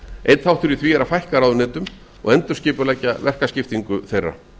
einn þáttur í því er að fækka raúneytum og endurskipuleggja verkaskiptingu þeirra